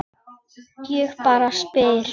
Ég bara spyr.